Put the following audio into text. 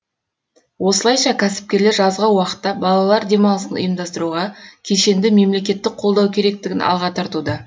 осылайша кәсіпкерлер жазғы уақытта балалар демалысын ұйымдастыруға кешенді мемлекеттік қолдау керектігін алға тартуда